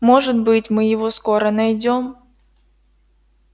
может быть мы его скоро найдём